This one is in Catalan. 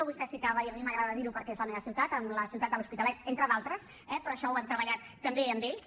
vostè citava i a mi m’agrada dir ho perquè és la meva ciutat la ciutat de l’hospitalet entre d’altres eh però això ho hem treballat també amb ells